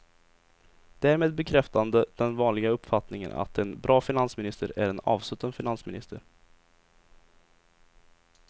Därmed bekräftande den vanliga uppfattningen att en bra finansminister är en avsutten finansminister.